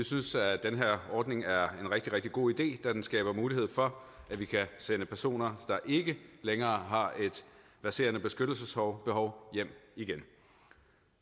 synes at den her ordning er en rigtig rigtig god idé da den skaber mulighed for at vi kan sende personer der ikke længere har et presserende beskyttelsesbehov hjem igen